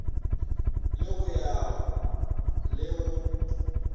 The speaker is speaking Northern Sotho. la go ya le go